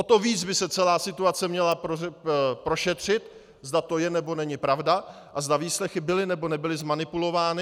O to víc by se celá situace měla prošetřit, zda to je, nebo není pravda a zda výslechy byly, nebo nebyly zmanipulovány.